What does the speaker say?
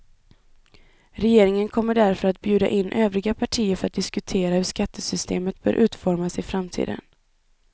Regeringen kommer därför att bjuda in övriga partier för att diskutera hur skattesystemet bör utformas i framtiden.